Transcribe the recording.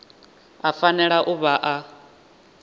a fanela u vha a